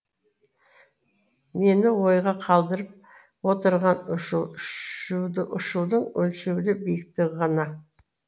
мені ойға қалдырып отырған ұшудың өлшеулі биіктігі ғана